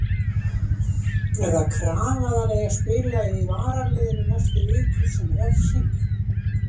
Er það krafa að hann eigi að spila í varaliðinu næstu vikur sem refsingu?